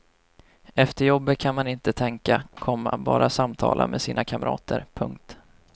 Efter jobbet kan man inte tänka, komma bara samtala med sina kamrater. punkt